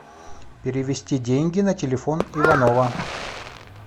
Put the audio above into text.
перевести деньги на телефон иванова